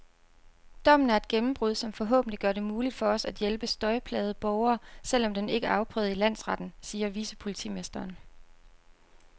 Dommen er et gennembrud, som forhåbentlig gør det muligt for os at hjælpe støjplagede borgere, selv om den ikke er afprøvet i landsretten, siger vicepolitimesteren.